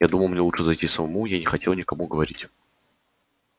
я думал мне лучше зайти самому я не хотел никому говорить